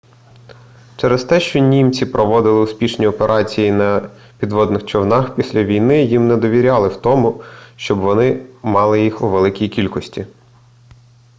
через те що німці проводили успішні операції на підводних човнах після війни їм не довіряли в тому щоб вони мали їх у великій кількості